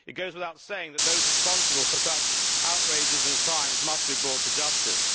It goes without saying that those responsible for such outrages and crimes must be brought to justice.